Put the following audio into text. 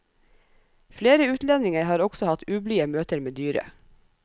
Flere utlendinger har også hatt ublide møter med dyret.